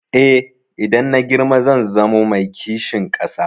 Eh, idan na girma zan zamo mai kishin ƙasa.